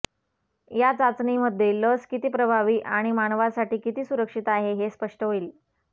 या चाचणीमध्ये लस किती प्रभावी आणि मानवासाठी किती सुरक्षित आहे हे स्पष्ट होईल